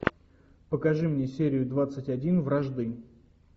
покажи мне серию двадцать один вражды